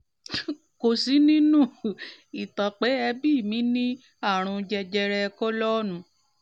kò sí nínú um ìtàn pé ẹbí mi ní àrùn jẹjẹrẹ kólọ́ọ̀nù